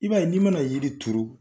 I b'a ye n'i mana yiri turu